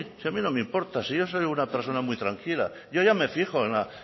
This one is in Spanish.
si a mí no me importa si yo soy una persona muy tranquila yo ya me fijo en la